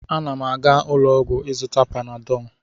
m na-aga ụlọ ọgwụ ịzụta Panadọ